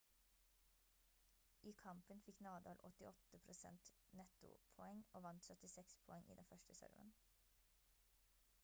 i kampen fikk nadal åttiåtte prosent nettopoeng og vant 76 poeng i den første serven